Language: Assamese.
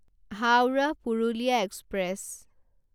হাউৰাহ পুৰুলিয়া এক্সপ্ৰেছ